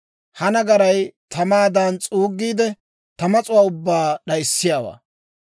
Ha nagaray tamaadan s'uuggiide, ta mas'uwaa ubbaa d'ayissiyaawaa.